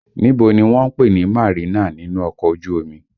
Níbo ni wọ́n ń pè ní Marina nínú ọkọ̀ ojú omi?